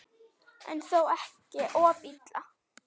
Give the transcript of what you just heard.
En þó ekki of illa.